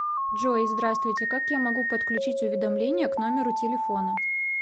джой здравствуйте как я могу подключить уведомления к номеру телефона